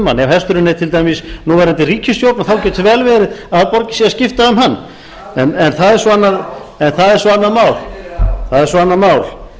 hann ef hesturinn er til dæmis núverandi ríkisstjórn þá getur vel verið að það borgi sig að skipta um hann en það er svo annað mál það er svo annað mál